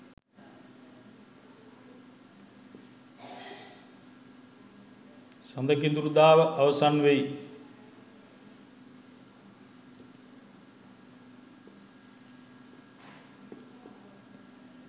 සඳ කිඳුරුදාව අවසන් වෙයි.